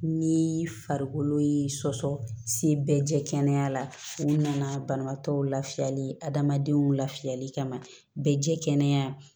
Ni farikolo ye sɔsɔ se bɛɛ jɛya la u nana banabaatɔ lafiyali adamadenw lafiyali kama bɛɛ jɛ kɛnɛya